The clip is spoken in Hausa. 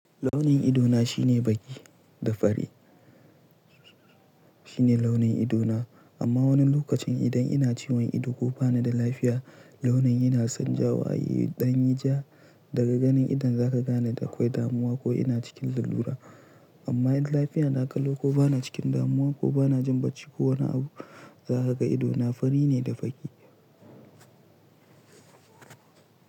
Launin ido na shine fari da baƙi. Amma wani lokacin idan ina ciwon ido ko bani da lafiya, launin yana canjawa. Danyi ja, daga ganin idon zaka gane da akwai damuwa ko ina cikin lalura. Amma idan lafiya na ƙalo ko bana cikin damuwa ko bana jin bacci ko wani abu, za ka ga ido na fari ne da baƙi.